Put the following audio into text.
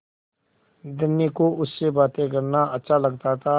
धनी को उससे बातें करना अच्छा लगता था